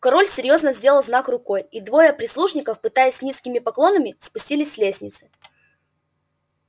король резко сделал знак рукой и двое прислужников пятясь с низкими поклонами спустились с лестницы